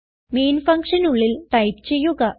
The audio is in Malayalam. മെയിൻ ഫങ്ഷനുള്ളിൽ ടൈപ്പ് ചെയ്യുക